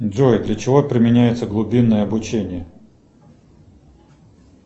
джой для чего применяется глубинное обучение